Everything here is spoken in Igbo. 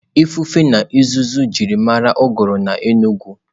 Ifufe na uzuzu ji mara uguru n'Enugwu.